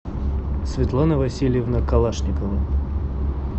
светлана васильевна калашникова